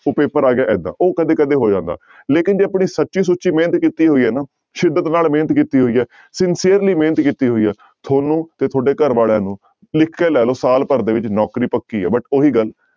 ਉਹ ਪੇਪਰ ਆ ਗਿਆ ਏਦਾਂ, ਉਹ ਕਦੇ ਕਦੇ ਹੋ ਜਾਂਦਾ ਲੇਕਿੰਨ ਜੇ ਆਪਣੀ ਸੱਚੀ ਸੁੱਚੀ ਮਿਹਨਤ ਕੀਤੀ ਹੋਈ ਹੈ ਨਾ, ਸਿੱਦਤ ਨਾਲ ਮਿਹਨਤ ਕੀਤੀ ਹੋਈ ਹੈ sincerely ਮਿਹਨਤ ਕੀਤੀ ਹੋਈ ਹੈ ਤੁਹਾਨੂੰ ਤੇ ਤੁਹਾਡੇ ਘਰ ਵਾਲਿਆਂ ਨੂੰ ਲਿਖ ਕੇ ਲੈ ਲਓ ਸਾਲ ਭਰ ਦੇ ਵਿੱਚ ਨੌਕਰੀ ਪੱਕੀ ਹੈ but ਉਹੀ ਗੱਲ